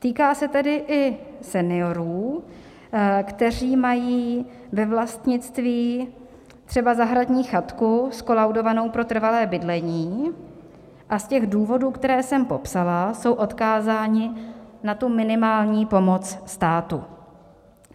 Týká se tedy i seniorů, kteří mají ve vlastnictví třeba zahradní chatku zkolaudovanou pro trvalé bydlení, a z těch důvodů, které jsem popsala, jsou odkázáni na tu minimální pomoc státu.